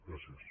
gràcies